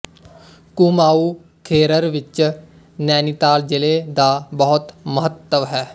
ਕੂਮਾਊ ਖੇਰਰ ਵਿਚ ਨੈਨੀਤਾਲ ਜਿਲ੍ਹੇ ਦਾ ਬਹੁਤ ਮਹੱਤਵ ਹੈ